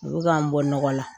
U bi ka n bɔ nɔgɔla